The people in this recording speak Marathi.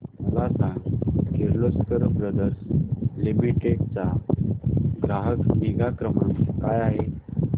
मला सांग किर्लोस्कर ब्रदर लिमिटेड चा ग्राहक निगा क्रमांक काय आहे